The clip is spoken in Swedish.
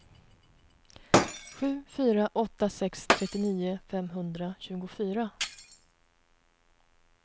sju fyra åtta sex trettionio femhundratjugofyra